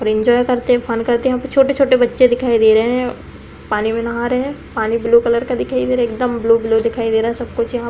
पर एंजॉय करते फन करते हुए छोटे छोटे बच्चे दिखाई दे रहे हैं। पानी में नहा रहे हैं। पानी ब्लू कलर का दिखाई दे रहा है। एकदम ब्लू - ब्लू दिखाई दे रहा है। सब कुछ यहाँ --